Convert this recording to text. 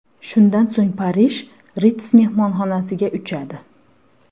Shundan so‘ng Parij, Ritz mehmonxonasiga uchadi.